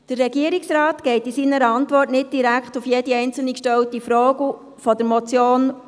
Der Regierungsrat geht in seiner Antwort nicht direkt auf jede einzelne von der Motion gestellte Frage ein.